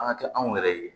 An ka kɛ anw yɛrɛ ye